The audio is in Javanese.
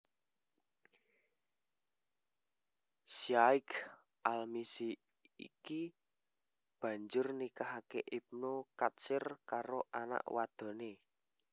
Syaikh al Mizzi iki banjur nikahake Ibnu Katsir karo anak wadoné